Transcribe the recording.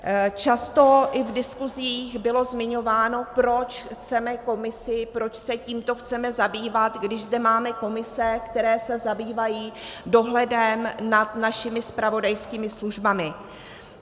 Často i v diskuzích bylo zmiňováno, proč chceme komisi, proč se tímto chceme zabývat, když zde máme komise, které se zabývají dohledem nad našimi zpravodajskými službami.